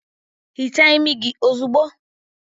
Hichaa imi gị ozugbo!